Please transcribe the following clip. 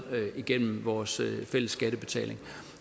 igennem vores fælles skattebetaling